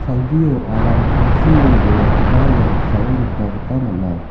salgio aram tangsime dongakoba ia noksao nikna gita man·a.